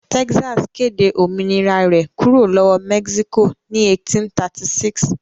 Texas kéde òmìnira rẹ̀ kúrò lọ́wọ́ Mexico ní 1836.